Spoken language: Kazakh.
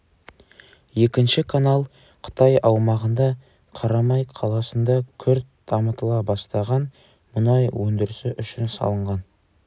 екінші канал қытай аумағында қарамай қаласында күрт дамытыла бастаған мұнай өндірісі үшін салынған